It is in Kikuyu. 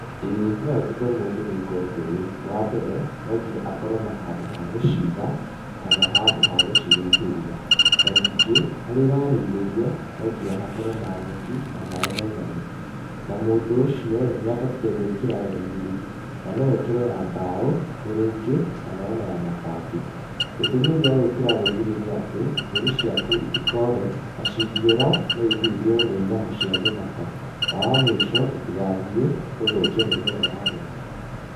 Ĩĩ no ndute mũndũ gwĩka ũndũ ũyũ, wambere no nginya akorwo na handũ ha gũciga kana handũ ha gũcirĩithĩria. Na ningĩ harĩa irarĩithĩrio no nginya hakorwo na nyeki na maaĩ maiganu. Na mũndũ ũcio ĩ nĩabatie gwĩkĩra rũgiri, na no ekĩre ya mbaũ, thĩrĩngĩ kana ona ya mabati. Gĩtũmi gĩa gwĩkĩra rũgiri nĩ atĩ mbũri ciaku citikore na cingĩũra no ithiĩ cirĩyo nĩ nyamũ cia gĩthaka. Na wamũico itigathiĩ gũthũkia mĩmera ya arĩmi.